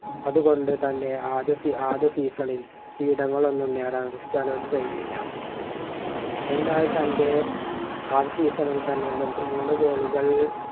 അതുകൊണ്ടു തന്നെ ആദ്യ ആദ്യ season ൽ കിരീടങ്ങളൊന്നും നേടാൻ ക്രിസ്റ്റിയാനോയ്ക്ക് കഴിഞ്ഞില്ല എന്നാൽ തന്റെ ആദ്യ season ൽ തന്നെ മുപ്പ മൂന്നു goal ഉകൾ